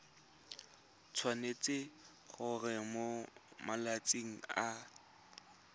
tshwanetse gore mo malatsing a